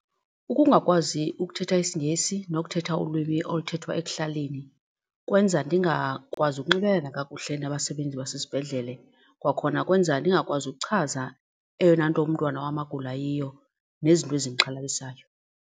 Ukungakwazi ukuthetha isiNgesi nokuthetha ulwimi oluthethwa ekuhlaleni kwenza ndingakwazi ukunxibelelana kakuhle nabasebenzi basesibhedlele, kwakhona kwenza ndingakwazi ukuchaza eyona nto umntwana wam agula yiyo nezinto ezindixhalabisayo.